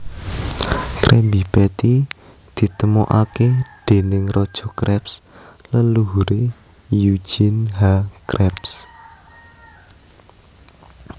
Krabby Patty ditemokake déning Raja Krabs leluhure eugene H Krabs